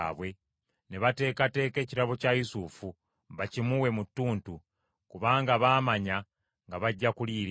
ne bateekateeka ekirabo kya Yusufu bakimuwe mu ttuntu, kubanga baamanya nga bajja kuliira eyo.